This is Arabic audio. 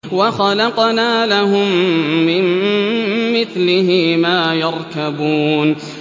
وَخَلَقْنَا لَهُم مِّن مِّثْلِهِ مَا يَرْكَبُونَ